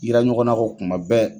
Yira ɲɔgɔnna ko kuma bɛɛ.